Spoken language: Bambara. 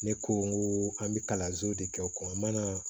Ne ko n ko an bɛ kalanso de kɛ o kɔnɔ an ma na